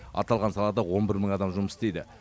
аталған салада он бір мың адам жұмыс істейді